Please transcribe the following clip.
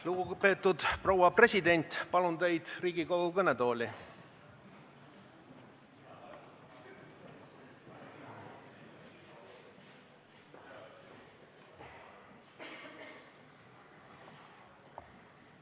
Lugupeetud proua president, palun teid Riigikogu kõnetooli!